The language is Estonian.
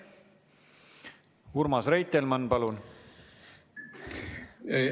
Urmas Reitelmann, palun!